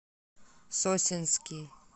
сосенский